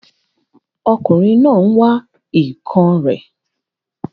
Ọkùnrin náà n wá èèkàn rẹ̀